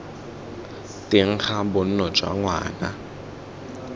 teng ga bonno jwa ngwana